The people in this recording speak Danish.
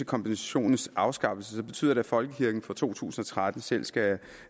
kompensationens afskaffelse betyder at folkekirken fra to tusind og tretten selv skal